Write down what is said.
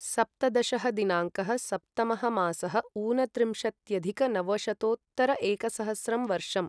सप्तदशः दिनाङ्कः सप्तमः मासः ऊनत्रिंशत्यधिक नवशतोत्तर एकसहस्रं वर्षम्